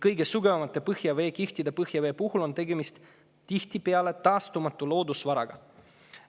Kõige sügavamate põhjaveekihtide puhul on tihtipeale tegemist taastumatu loodusvaraga.